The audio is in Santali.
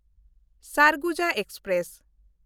ᱥᱟᱨᱜᱩᱡᱟ ᱮᱠᱥᱯᱨᱮᱥ